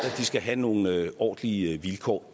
skal have nogle ordentlige vilkår